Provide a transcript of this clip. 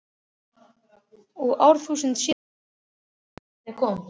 Og árþúsundum síðar- andlit hennar þegar barnið kom.